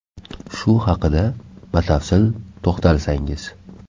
Shu haqida batafsil to‘xtalsangiz.